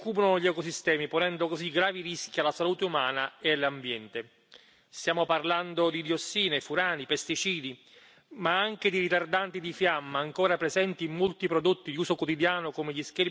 Stiamo parlando di diossine, furani e pesticidi ma anche di ritardanti di fiamma ancora presenti in molti prodotti di uso quotidiano come gli schermi delle tv, dei computer o della componentistica delle auto.